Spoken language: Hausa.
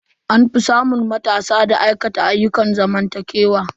An fi samun matasa da aikata ayyukan zamantakewa.